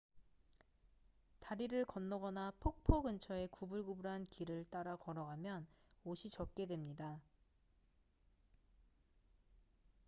다리를 건너거나 폭포 근처의 구불구불한 길을 따라 걸어가면 옷이 젖게 됩니다